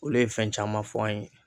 Olu ye fɛn caman fɔ an ye